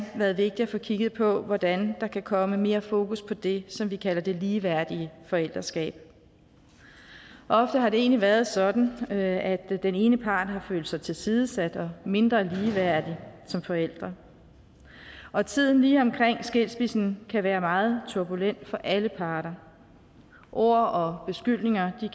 været vigtigt at få kigget på hvordan der kan komme mere fokus på det som vi kalder det ligeværdige forældreskab ofte har det egentlig været sådan at den ene part har følt sig tilsidesat og mindre ligeværdig som forælder og tiden lige omkring skilsmissen kan være meget turbulent for alle parter ord og beskyldninger